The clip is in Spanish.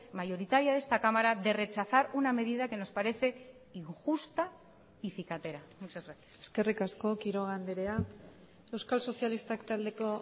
mayoritaria de esta cámara de rechazar una medida que nos parece injusta y cicatera muchas gracias eskerrik asko quiroga andrea euskal sozialistak taldeko